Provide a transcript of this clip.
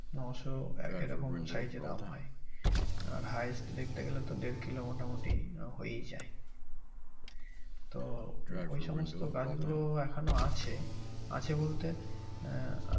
নয়শ এরকম size এর আম হয় আর highest দেখতে গেলে তো দেড় kilo মোটামুটি আহ হয়েই যায় তো ওই সমস্ত গাছগুলো এখনো আছে আছে বলতে আহ